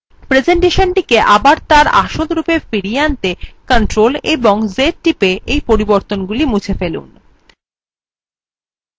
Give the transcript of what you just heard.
প্রেসেন্টেশনটি আবার তার আসল রূপে ফিরিয়ে আনতে ctrl এবং z টিপে এই পরিবর্তনগুলি মুছে ফেলুন